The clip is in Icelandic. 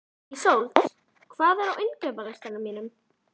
Ísold, hvað er á innkaupalistanum mínum?